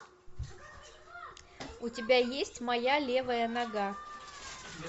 у тебя есть моя левая нога